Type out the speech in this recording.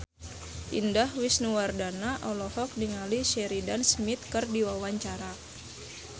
Indah Wisnuwardana olohok ningali Sheridan Smith keur diwawancara